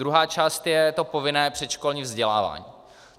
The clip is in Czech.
Druhá část je to povinné předškolní vzdělávání.